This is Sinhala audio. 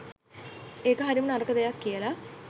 ඒක හරිම නරක දෙයක් කියලා